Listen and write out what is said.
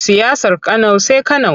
Siyasar Kano sai Kano.